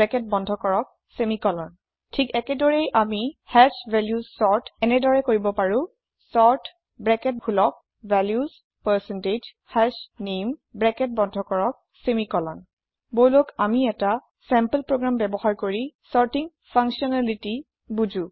bracket বন্ধ কৰকsemicolon ঠিক একেদৰেই আমি হাশ ভেলিউচ চৰ্ট এনেদৰে কৰিব পাৰো চৰ্ট ব্ৰেকেট খোলক ভেলিউচ পাৰচেণ্টেজ হাশনামে ব্ৰেকেট বন্ধ কৰক ছেমিকলন বলক আমি এটা চেম্পল প্ৰোগ্ৰাম চৰ্টিং ফাঙ্কচ্যনেলিতিৰ সহায়ত বুজো